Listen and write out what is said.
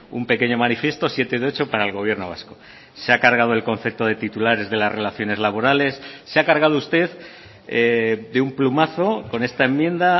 un pequeño manifiesto siete de ocho para el gobierno vasco se ha cargado el concepto de titulares de las relaciones laborales se ha cargado usted de un plumazo con esta enmienda